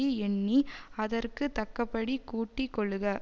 யெண்ணி அதற்கு தக்கபடி கூட்டி கொள்ளுக